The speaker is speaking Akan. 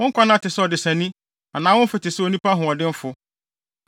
Wo nkwanna te sɛ ɔdesani anaa wo mfe te sɛ onipa hoɔdenfo,